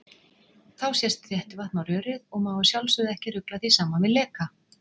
Þá sest þéttivatn á rörið og má að sjálfsögðu ekki rugla því saman við leka!